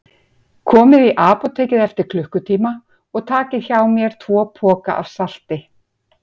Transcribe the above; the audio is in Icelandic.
Komið í apótekið eftir klukkutíma og takið hjá mér tvo poka af salti.